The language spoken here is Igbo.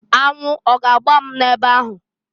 Anwụ ọ ga-agba m ebe ahụ?